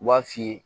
U b'a f'i ye